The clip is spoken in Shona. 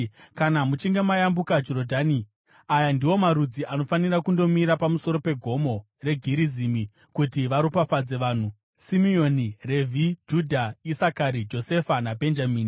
Kana muchinge mayambuka Jorodhani, aya ndiwo marudzi anofanira kundomira pamusoro peGomo reGerizimu kuti varopafadze vanhu: Simeoni, Revhi, Judha, Isakari, Josefa naBhenjamini.